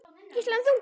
Gísli: En þú?